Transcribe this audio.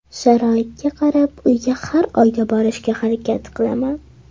Sharoitga qarab uyga har oyda borishga harakat qilaman.